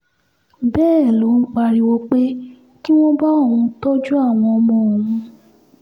bẹ́ẹ̀ ló ń pariwo pé kí wọ́n bá òun tọ́jú àwọn ọmọ òun